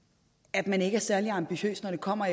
at man ikke er særlig ambitiøs når det kommer